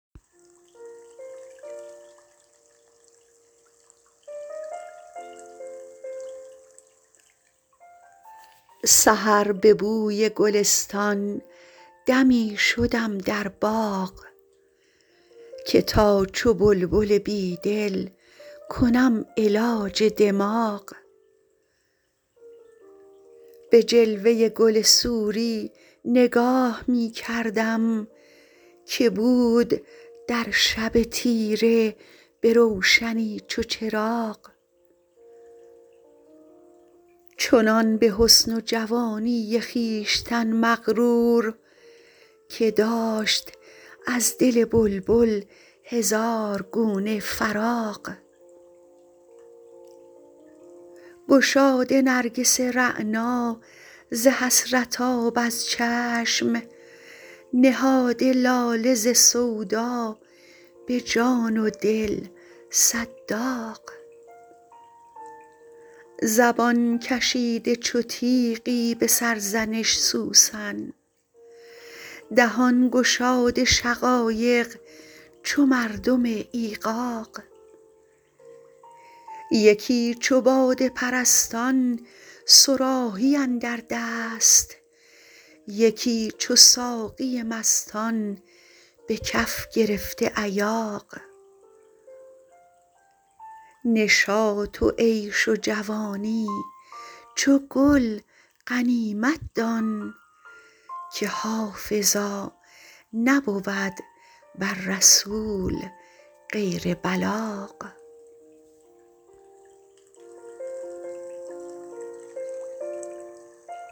سحر به بوی گلستان دمی شدم در باغ که تا چو بلبل بیدل کنم علاج دماغ به جلوه گل سوری نگاه می کردم که بود در شب تیره به روشنی چو چراغ چنان به حسن و جوانی خویشتن مغرور که داشت از دل بلبل هزار گونه فراغ گشاده نرگس رعنا ز حسرت آب از چشم نهاده لاله ز سودا به جان و دل صد داغ زبان کشیده چو تیغی به سرزنش سوسن دهان گشاده شقایق چو مردم ایغاغ یکی چو باده پرستان صراحی اندر دست یکی چو ساقی مستان به کف گرفته ایاغ نشاط و عیش و جوانی چو گل غنیمت دان که حافظا نبود بر رسول غیر بلاغ